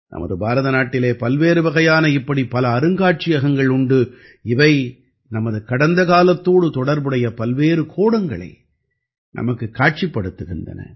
நமது பாரத நாட்டிலே பல்வேறு வகையான இப்படி பல அருங்காட்சியகங்கள் உண்டு இவை நமது கடந்த காலத்தோடு தொடர்புடைய பல்வேறு கோணங்களை நமக்குக் காட்சிப்படுத்துகின்றன